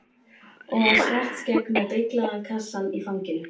Og á Svartskegg með beyglaða kassann í fanginu.